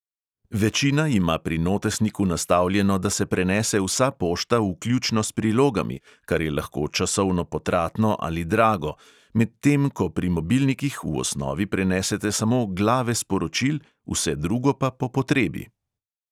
Večina ima pri notesniku nastavljeno, da se prenese vsa pošta, vključno s prilogami, kar je lahko časovno potratno ali drago, medtem ko pri mobilnikih v osnovi prenesete samo glave sporočil, vse drugo pa po potrebi.